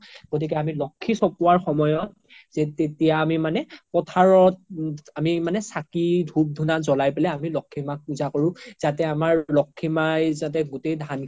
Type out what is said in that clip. গ্তিকে আমি লক্ষী চ্পোৱাৰ সময়ত তেতিয়া আমি মানে পোথাৰত আমি মানে চাকি ধুপ ধুনা জ্লাই পিনে আমি লক্ষী মাক পুজা কৰো যাতে আমাৰ লক্ষী মাই যাতে গোতেই ধান খিনি